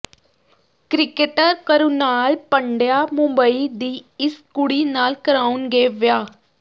cricketer Krunal Pandya Mumbai ਦੀ ਇਸ ਕੁੜੀ ਨਾਲ ਕਰਾਉਣਗੇ ਵਿਆਹ